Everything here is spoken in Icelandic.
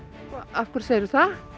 af hverju segirðu það